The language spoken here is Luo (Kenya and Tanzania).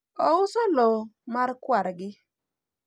ouso lowo mar kwargi